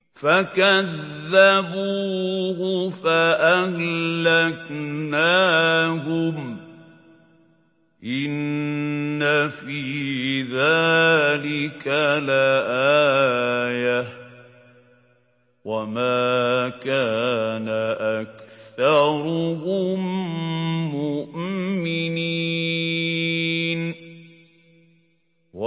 فَكَذَّبُوهُ فَأَهْلَكْنَاهُمْ ۗ إِنَّ فِي ذَٰلِكَ لَآيَةً ۖ وَمَا كَانَ أَكْثَرُهُم مُّؤْمِنِينَ